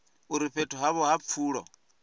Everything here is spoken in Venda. uri fhethu havho ha pfulo